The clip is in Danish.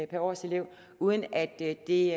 per årselev uden at det